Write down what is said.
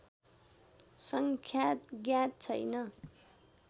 सङ्ख्या ज्ञात छैन